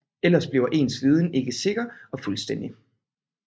Ellers bliver ens viden ikke sikker og fuldstændig